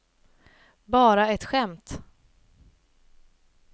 bara ett skämt